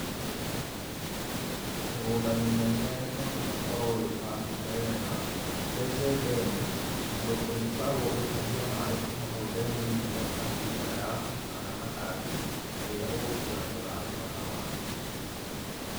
Mĩgũnda mĩnene no nginya ũkorwo wĩbangĩte wega, wenje ndemu ũndũ ũrĩkoragwo ũgĩtahia maĩ kuma hau ndemu-inĩ ĩyo, ũkahe mĩmera yaku, kana matangi hĩndĩ ĩrĩa ũgũtuĩka nĩ ũrarĩma na maĩ.